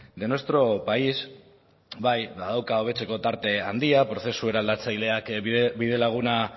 de nuestro país bai badauka hobetzeko tarte handia prozesu eraldatzaileak bidelaguna